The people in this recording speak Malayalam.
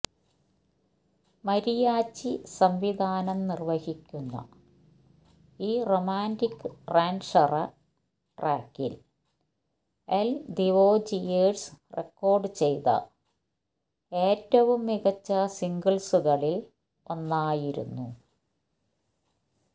മരിയാച്ചി സംവിധാനം നിർവ്വഹിക്കുന്ന ഈ റൊമാന്റിക് റാൻഷറ ട്രാക്കിൽ എൽ ദിവോജിയേഴ്സ് റെക്കോർഡ് ചെയ്ത ഏറ്റവും മികച്ച സിംഗിൾസുകളിൽ ഒന്നായിരുന്നു